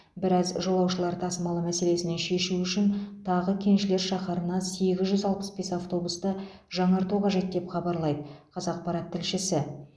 бірақ жолаушылар тасымалы мәселесіне шешу үшін тағы кеншілер шаһарына сегіз жүз алпыс бес автобусты жаңарту қажет деп хабарлайды қазақпарат тілшісі